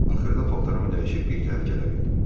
Axırda paltarımı dəyişib bir təhər gələ bildim.